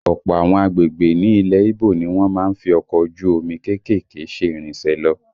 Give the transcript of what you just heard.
Ọ̀pọ̀ àwọn agbègbè ní ilẹ̀ Íbò ni wọ́n má ń fi ọkọ̀ ojú omi kéékèèké ṣe ìrìnsẹ̀ lọ